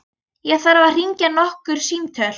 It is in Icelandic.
Ég þarf að hringja nokkur símtöl.